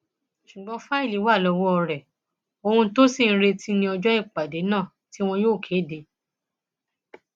ṣùgbọn fáìlì wà lọwọ rẹ ohun tó ṣì ń retí ní ọjọ ìpàdé náà tí wọn yóò kéde